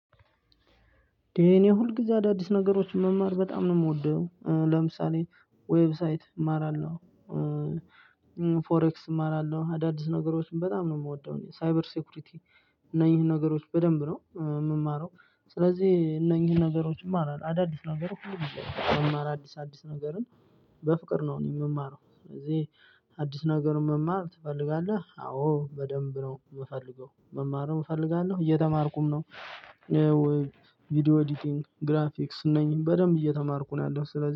እንደ እኔ ሁል ጊዜ አዳዲስ ነገሮችን መማር በጣም ነው የምወደው ለምሳሌ ዌብሳይት እማራለሁ። ፎሬክስ እማራለሁ አዳዲስ ነገሮችን በጣም ነው የምወደው እኔ ሳይበር ሴኩሪቲ እና እነዚህን ነገሮች በደንብ ነው የምማረው። ስለዚህ እነዚህን ነገሮችም እማራለው አዳዲስ ነገር ሁሉ ጊዜም አዲስ አዲስ ነገርን። በፍቅር ነው እኔ የምማረው ስለዚህ። አዲስ ነገር መማር ትፈልጋለህ? አዎ በደንብ ነው የምፈልገው መማርም እፈልጋለሁ እየተማርኩም ነው። ቪዲዮ ኤዲቲንግ ግራፊክስ እነኝን በደንብ እየተማርኩ ነው ያለው ስለዚህ